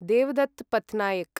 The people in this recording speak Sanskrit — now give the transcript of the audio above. देवदत्त् पत्तनैक्